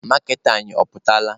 Maaketa anyị ọ pụtala?